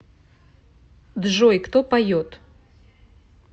джой кто поет